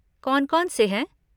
कौन कौन से हैं?